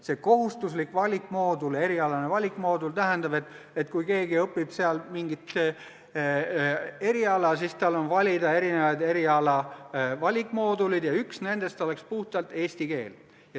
See kohustuslik valikmoodul – erialane valikmoodul – tähendab seda, et kui keegi õpib mingit eriala, siis on tal valida erisuguseid eriala valikmooduleid ja üks nendest oleks puhtalt eesti keel.